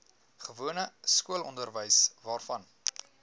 gewone skoolonderwys waarvan